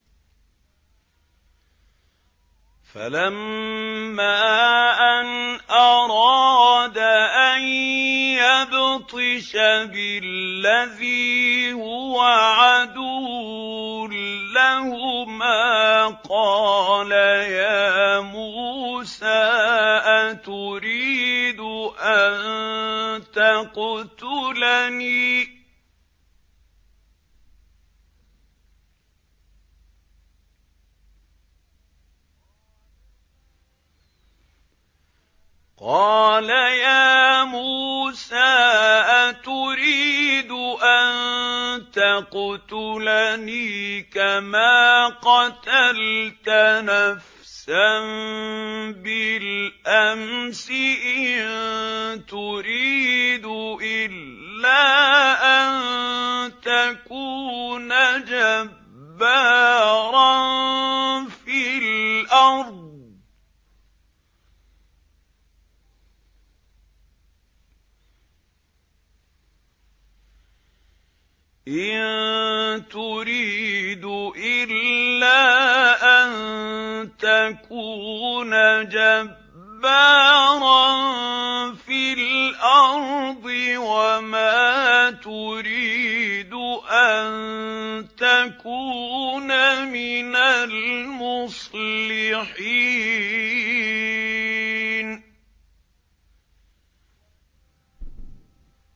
فَلَمَّا أَنْ أَرَادَ أَن يَبْطِشَ بِالَّذِي هُوَ عَدُوٌّ لَّهُمَا قَالَ يَا مُوسَىٰ أَتُرِيدُ أَن تَقْتُلَنِي كَمَا قَتَلْتَ نَفْسًا بِالْأَمْسِ ۖ إِن تُرِيدُ إِلَّا أَن تَكُونَ جَبَّارًا فِي الْأَرْضِ وَمَا تُرِيدُ أَن تَكُونَ مِنَ الْمُصْلِحِينَ